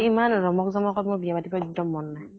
ইমান ৰমক জমক ত মোৰ বিয়া পাতিব এক্দম মন নাই